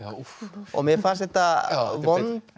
og mér fannst þetta vond